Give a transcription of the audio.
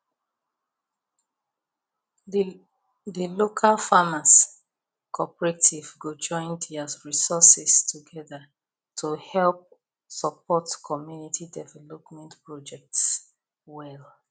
the local farmers cooperative go join their resources together to help support community development projects well